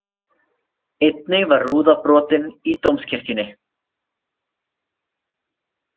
Einnig var rúða brotin í Dómkirkjunni